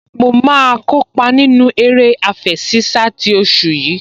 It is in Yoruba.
Mo máa kópa nínú eré àfẹṣinsá ti oṣù yìí